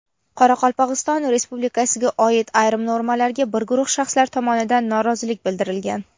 Qoraqalpogʼiston Respublikasiga oid ayrim normalarga bir guruh shaxslar tomonidan norozilik bildirilgan.